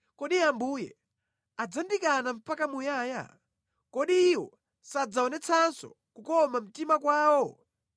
“Kodi Ambuye adzatikana mpaka muyaya? Kodi Iwo sadzaonetsanso kukoma mtima kwawo?